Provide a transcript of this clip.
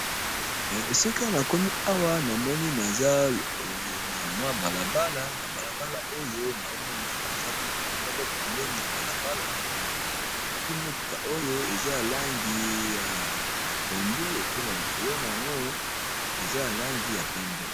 Esika na komi awa na moni naza na mwa balabala na balabala oyo na omona koza motuka moko pemeni ya balabala yango pui motuka oyo eza alangi ya pondu epe na likolo na yango eza alangi ya pembe.